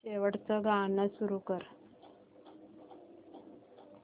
शेवटचं गाणं सुरू कर